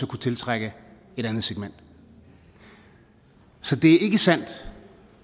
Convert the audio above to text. kunne tiltrække et andet segment så det er ikke sandt